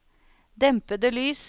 dempede lys